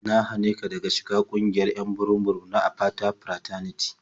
Na hane ka daga shiga ƙungiyar 'yan burum-burum na Apata Fraternity.